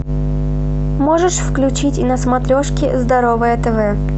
можешь включить на смотрешке здоровое тв